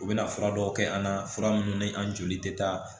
U bɛna fura dɔw kɛ an na fura minnu ni an joli tɛ taa